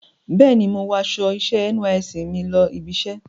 Bẹ́ẹ̀ni, mo wọ aṣọ iṣẹ́ NYSC mi lọ ibiṣẹ́.